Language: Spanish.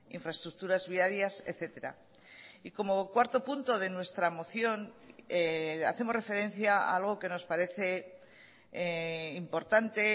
infraestructuras viarias etcétera y como cuarto punto de nuestra moción hacemos referencia a algo que nos parece importante